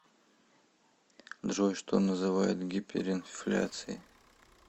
джой что называют гиперинфляцией